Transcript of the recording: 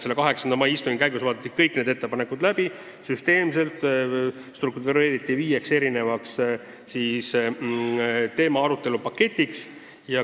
Selle 8. mai istungi käigus vaadati kõik need ettepanekud läbi ja jaotati need süsteemselt viieks teemaarutelu paketiks.